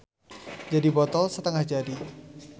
Jadi botol satengah jadi.